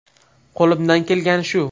Qo‘limdan kelgani shu.